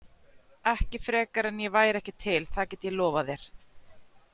Ekki frekar en ég væri ekki til, það get ég lofað þér.